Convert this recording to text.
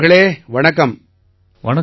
கௌரவ் அவர்களே வணக்கம்